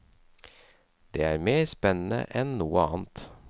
Det er mer spennende enn noe annet.